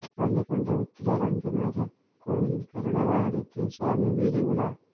பள்ளிகொண்டா உத்திர ரங்கநாத கோயிலில் கருட வாகனத்தில் சுவாமி வீதி உலா